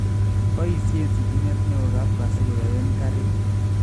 Boisyen sitimeet neo kabkasi kuyaen kariik